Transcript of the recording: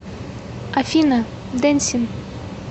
афина дэнсин